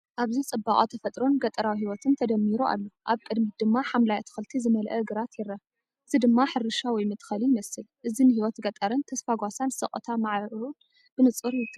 ኣብዚ ጽባቐ ተፈጥሮን ገጠራዊ ህይወትን ተደሚሩ ኣሎ። ኣብ ቅድሚት ድማ ሓምላይ ኣትክልቲ ዝመልአ ግራት ይርአ፣ እዚ ድማ ሕርሻ ወይ መትከሊ ይመስል። እዚንህይወት ገጠርን ተስፋ ጓሳን ስቕታ ማዕረኡን ብንጹር ትገልጽ።